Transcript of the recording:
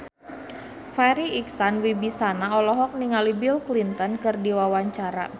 Farri Icksan Wibisana olohok ningali Bill Clinton keur diwawancara